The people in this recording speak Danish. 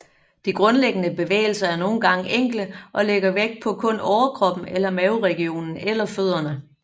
De grundlæggende bevægelser er nogen gange enkle og lægger vægt på kun overkroppen eller maveregionen eller fødderne